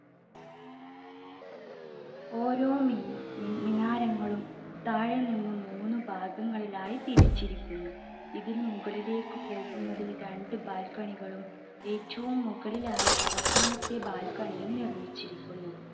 ഓരോ മിനാരങ്ങളും താഴെ നിന്ന് മൂന്ന് ഭാഗങ്ങളിലായി തിരിച്ചിരിക്കുന്നു. ഇതിൽ മുകളിലേക്ക് പോവുന്നതിന് രണ്ട് balcony കളും ഏറ്റവും മുകളിലായി അവസാനത്തെ balcony യും നിർമിച്ചിരിക്കുന്നു.